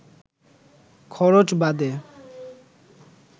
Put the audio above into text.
খরচ বাদে